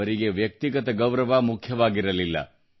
ಅವರಿಗೆ ವ್ಯಕ್ತಿಗತ ಗೌರವ ಮುಖ್ಯವಾಗಿರಲಿಲ್ಲ